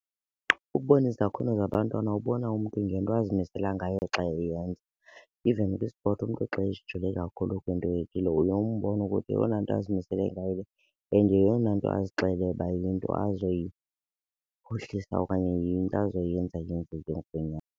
Ukubona izakhono zabantwana ubona umntu ngento azimisela ngayo xa eyenza. Even kwi-sport umntu xa ezijule kakhulu kwinto ethile uye umbone ukuthi yeyona nto azimisele ngayo le and yeyona nto azixele uba yinto azoyiphuhlisa okanye yinto azoyenza yenzeke ngokwenyani.